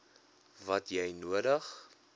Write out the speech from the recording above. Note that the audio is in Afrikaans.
wat jy nodig